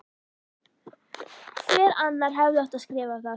Hver annar hefði átt að skrifa það?